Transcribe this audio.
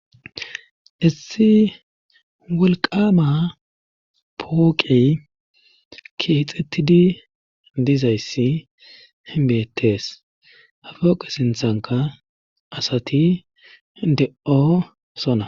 Issi wolqama pooqey keexettidi dizayssi hinbeettees hafooqe sinthanka asati de'oo sona.